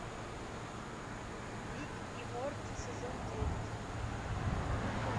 рик и морти сезон девять